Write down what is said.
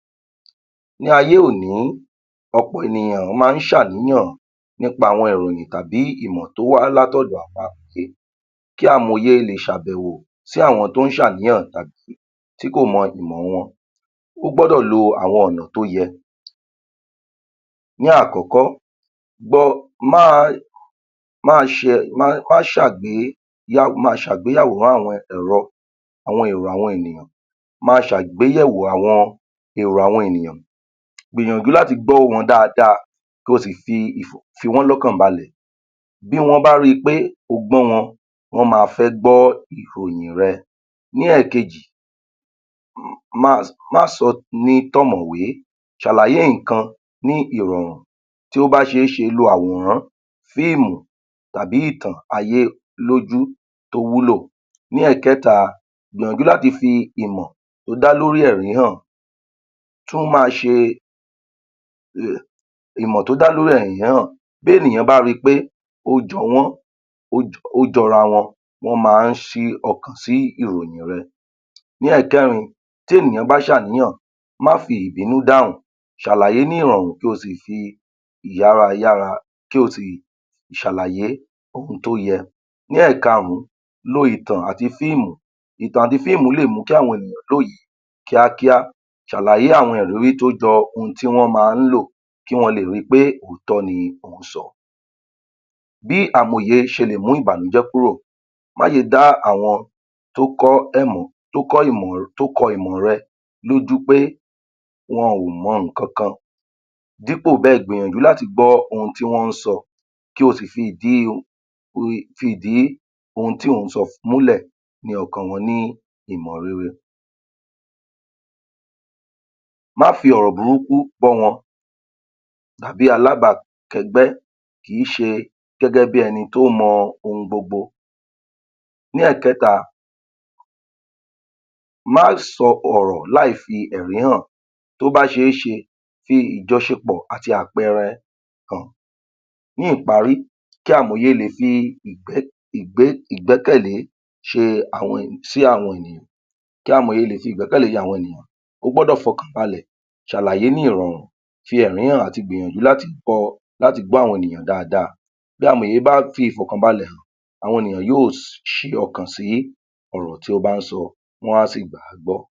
Ní ayé-oní, ọ̀pọ̀ ènìyàn ló máa ń ṣàníyàn nípa àwọn ìròyìn tàbí ìmọ̀ tó wá látọ̀dọ̀ àwọn amòye, kí amòye lè ṣàbẹ̀wò sí àwọn tó ń ṣàníyàn tàbí tí kò mọ̀ ìmọ̀ wọn. Ó gbọ́dọ̀ lo àwọn ọ̀nà tó yẹ. Ní àkókò, ma ṣàgbéyẹ̀wò àwọn èrò àwọn ènìyàn, gbìyànjú láti gbọ́ ohùn wọn dáadáa ko sì fi wọ́n lọ́kàn balẹ̀. Bí wọ́n bá rí pé o gbọ́ wọn, wọ́n ma fẹ́ gbọ́ ìròyìn rẹ. Ní èkejì, má sọ ọ́ ní tọ̀mọ̀wé, ṣàlàyé nnkan ní ìrọ̀rùn. Tí ó bá ṣe é ṣe, lo àwòrán, fíìmù, tàbí ìtàn ayé lójú tó wúlò. Ní ẹ̀kẹ́ka, gbìyànjú láti fi ìmọ̀ tó dá lórí ẹ̀rín hàn ìmọ̀ tó dá lórí ẹ̀rín hàn. Bí ènìyàn bá ri pé ó jọ wọ́n, ó jọra wọn, wọ́n ma ń sí ọkàn sí ìròyìn rẹ. Ní ẹ̀kẹ́rin, tí ènìyàn bá ṣàníyàn, má fi ìbínú dáhùn, ṣàlàyé ní irọ̀rùn kí ó sì fi yára yára kí o sì ṣàlàyé ohun tí ó yẹ. Ní ẹ̀kaàrún, lo ìtàn àti fíìmù. Ìtàn àti fíìmù lè mú kí àwọn ènìyàn lóye kíákíá. Ṣàlàyé àwọn tó jọ ohun tí wọ́n ma ń lò kí wọn lè ri pé òótọ́ ni ò ń sọ. Bí amòye ṣe lè mú ìbànújẹ́ kúrò? Má ṣe dá àwọn tó kọ ìmọ̀ rẹ lójú pé wọn ò mọ nǹkan kan dípò bẹ́ẹ̀ gbìyànjú láti gbọ́ ohùn tí wọ́n ń sọ, kí ó sì fìdí ohun tí ò ń sọ fi múlẹ̀ ní ọkàn wọn ní ìmọ̀ rere. Má fi ọ̀rọ̀ burúkú bọ́ wọn tàbí alába kẹ́gbẹ́ kì í ṣe gẹ́gẹ́ bí ẹni tó mọ ohun gbogbo. Ní ẹ̀kẹ́ka, má sọ ọ̀rọ̀ láì fi ẹ̀rín hàn. Tó bá ṣe é ṣe, fi ìjọṣepọ̀ àti àpẹẹrẹ hàn. Ní ìparí, kí amòye lè fi ìgbẹ́kẹ̀le sí àwọn ènìyàn, kí amòye lè fi ìgbẹ́kẹ̀le àwọn ènìyàn, ó gbọ́dọ̀ fọkàn balẹ̀ ṣàlàyé ní irọ̀rùn, fi ẹ̀rín hàn àti gbìyànjú láti láti gbọ́ àwọn ènìyàn dáadáa. Bí amòye bá fi ìfọ̀kàn balẹ̀ hàn, àwọn ènìyàn yóò ṣí ọkàn sí ọ̀rọ̀ tí ó bá ń sọ, wọn á sì gbàgbọ́.